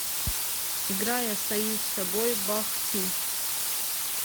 играй остаюсь собой бах ти